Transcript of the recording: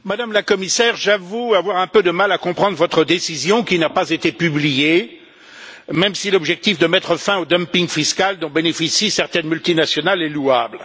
Madame la Présidente, Madame la Commissaire, j'avoue avoir un peu de mal à comprendre votre décision qui n'a pas été publiée, même si l'objectif de mettre fin au dumping fiscal dont bénéficient certaines multinationales est louable.